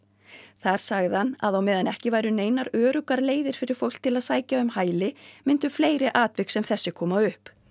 þar sagði hann að á meðan ekki væru neinar öruggar leiðir fyrir fólk til að sækja um hæli myndu fleiri atvik sem þessi koma upp